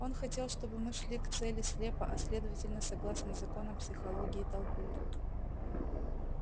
он хотел чтобы мы шли к цели слепо а следовательно согласно законам психологии толпы